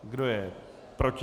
Kdo je proti?